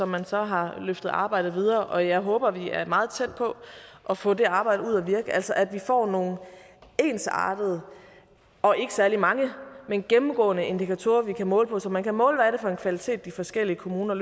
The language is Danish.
man så har løftet arbejdet videre og jeg håber vi er meget tæt på at få det arbejde ud at virke altså at vi får nogle ensartede og ikke særlig mange men gennemgående indikatorer vi kan måle på så man kan måle hvad det er for en kvalitet de forskellige kommuner